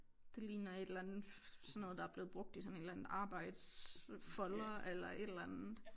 Det ligner et eller andet sådan noget der er blevet brugt i sådan en eller anden arbejdsfolder eller et eller andet